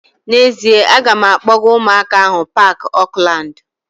N'ezie, a ga m akpọga ụmụaka ahu paaki Oakland